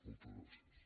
moltes gràcies